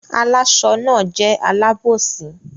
Àláṣọ náà jẹ́ alábòsí.